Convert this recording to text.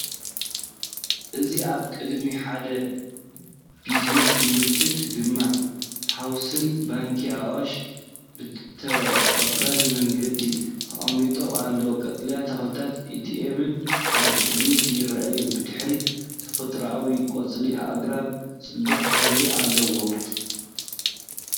እዚ ኣብ ቅድሚ ሓደ ቢዝነስ ምልክት ዳማ ሃውስን ባንኪ ኣዋሽን ብተቐባሊ መንገዲ ተቐሚጦም ኣለዉ፤ ቀጠልያ ተኽልታትን ኤቲኤምን ኣብ ቅድሚት ይረኣዩ። ብድሕሪት ተፈጥሮኣዊ ቆጽሊ ኣግራብ ጽቡቕ ሕብሪ ኣለዎ።